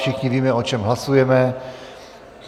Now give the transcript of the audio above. Všichni víme, o čem hlasujeme.